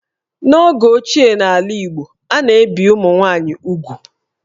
N'oge ochie n'ala Igbo, a na-ebì ụmụ nwaanyị úgwù